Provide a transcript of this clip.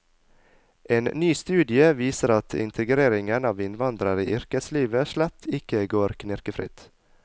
En ny studie viser at integreringen av innvandrere i yrkeslivet slett ikke går knirkefritt.